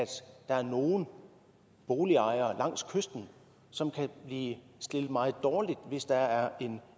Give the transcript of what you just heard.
der er nogle boligejere langs kysten som kan blive stillet meget dårligt hvis der er